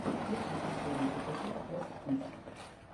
включи последний эпизод эс ис